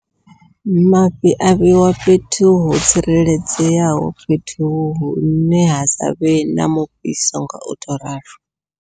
Mafhi a vheiwa fhethu ho tsireledzeaho, fhethu hune ha savhe na mufhiso ngau to ralo.